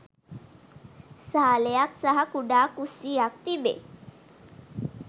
සාලයක්‌ සහ කුඩා කුස්‌සියක්‌ තිබේ